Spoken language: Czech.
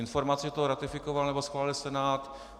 Informace, že to ratifikoval, nebo schválil Senát...